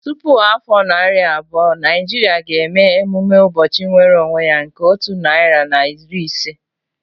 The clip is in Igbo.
Tupu afọ narị abụọ, Naijiria ga-eme emume ụbọchị nwere onwe ya nke otu narị na iri ise